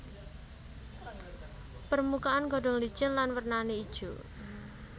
Permukaan godhong licin lan warnané ijo